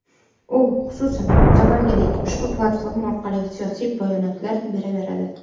U, xususan, avvalgidek, ushbu platforma orqali siyosiy bayonotlar beraveradi.